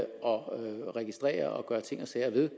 og registrere og gøre ting og sager ved